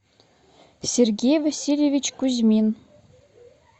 сергей васильевич кузьмин